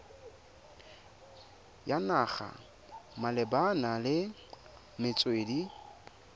ya naga malebana le metswedi